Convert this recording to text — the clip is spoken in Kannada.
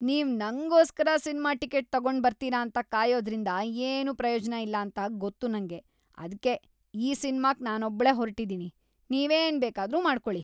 ನೀವ್ ನಂಗೋಸ್ಕರ ಸಿನ್ಮಾ ಟಿಕೆಟ್‌ ತಗೊಂಡ್ಬರ್ತೀರ ಅಂತ ಕಾಯೋದ್ರಿಂದ ಏನೂ ಪ್ರಯೋಜ್ನ ಇಲ್ಲಾಂತ ಗೊತ್ತು ನಂಗೆ. ಅದ್ಕೆ ಈ ಸಿನ್ಮಾಕ್ ನಾನೊಬ್ಳೇ ಹೊರ್ಟಿದೀನಿ, ನೀವ್‌ ಏನ್‌ ಬೇಕಾದ್ರೂ ಮಾಡ್ಕೊಳಿ.